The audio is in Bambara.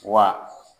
Wa